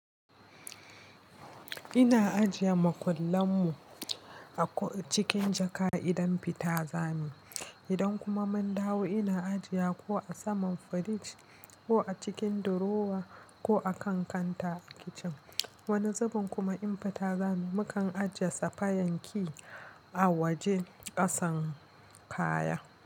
Ina ajiye makullan mu a cikin jaka idan fita zamuyi Idan kuma mun dawo ina ajiye ko a saman fridge ko a cikin drawer ko a kan kanta kicin. Wani zuben kuma in fita zamuyi mukan ajiye safayen key a waje kasan kaya.